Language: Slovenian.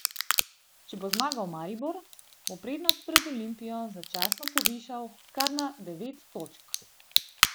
Če bo zmagal Maribor, bo prednost pred Olimpijo začasno povišal kar na devet točk.